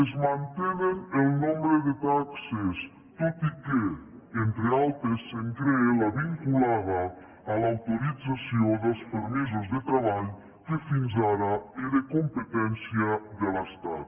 es mantenen el nombre de taxes tot i que entre altres es crea la vinculada a l’autorització dels permisos de treball que fins ara era competència de l’estat